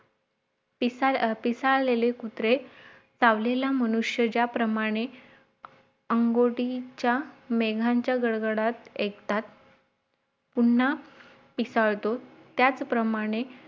पिसाळ पिसाळलेले कुत्रे सावलीला मनुष्य ज्याप्रमाणे अंगोटीचा मेघांच्या घडघडात ऐकतात पुन्हा पिसाळतो त्याच प्रमाणे